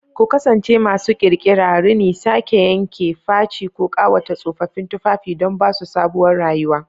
Ku kasance masu ƙirƙira! Rini, sake-yanke, faci, ko ƙawata tsofaffin tufafi don ba su sabuwar rayuwa.